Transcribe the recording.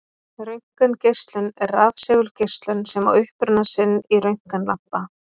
Röntgengeislun er rafsegulgeislun sem á uppruna sinn í röntgenlampa.